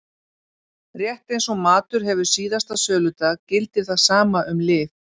Rétt eins og matur hefur síðasta söludag gildir það sama um lyf.